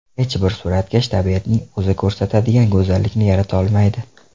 Hech bir suratkash tabiatning o‘zi ko‘rsatadigan go‘zallikni yarata olmaydi.